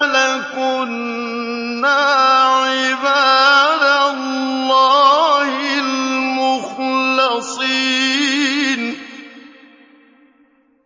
لَكُنَّا عِبَادَ اللَّهِ الْمُخْلَصِينَ